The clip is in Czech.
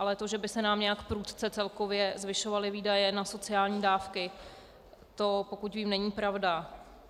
Ale to, že by se nám nějak prudce celkově zvyšovaly výdaje na sociální dávky, to, pokud vím, není pravda.